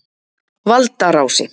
Valdarási